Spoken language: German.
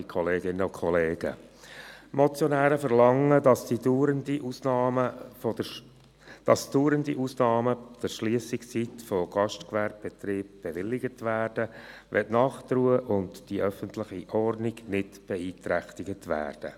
Die Motionäre verlangen, dass dauernde Ausnahmen der Schliessungszeit von Gastgewerbebetrieben bewilligt werden, wenn Nachtruhe und öffentliche Ordnung nicht beeinträchtigt werden.